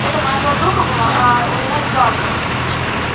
это моя подруга была а у меня два аккаунта